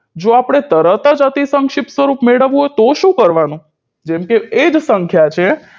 જો આપણે તરત જ અતિસંક્ષિપ્ત રૂપ મેળવવું હોય તો શું કરવાનું જેમકે એ જ સંખ્યા છે